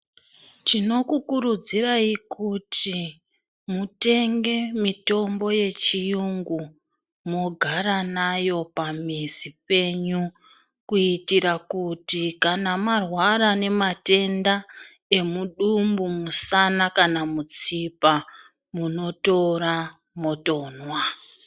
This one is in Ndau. Tinokukurudzirai kuti mutenge mitombo yechiyungu mogara nayo pamizi penyu kuitira kuti kana marwara nematenda emudumbu musana kana mutsipa munotora motonwa.